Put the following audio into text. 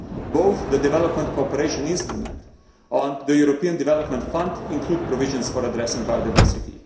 Both the Development Cooperation Instrument and the European Development Fund include provisions for addressing biodiversity.